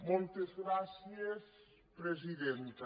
moltes gràcies presidenta